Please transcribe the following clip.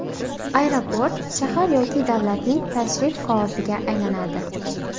Aeroport shahar yoki davlatlarning tashrif qog‘oziga aylanadi.